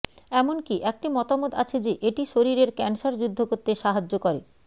এমনকি একটি মতামত আছে যে এটি শরীরের ক্যান্সার যুদ্ধ করতে সাহায্য করে